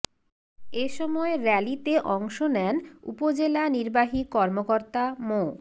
এ সময় র্যালিতে অংশ নেন উপজেলা নির্বাহী কর্মকর্তা মো